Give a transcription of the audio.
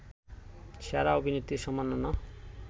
সেরা অভিনেত্রীর সম্মাননা